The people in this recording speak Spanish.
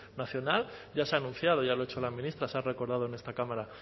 nacional ya se ha anunciado ya lo ha hecho la ministra se ha recordado en esta cámara